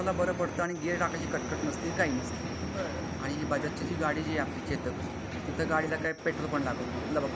आणि गियर टाकायची कटकट नसती काही नसती आणि बजाज ची गाडी आहे आपली चेतक त्याला काही पेट्रोल लागत नाही